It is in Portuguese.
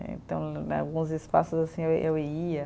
Então né, em alguns espaços, assim, eu eu ia.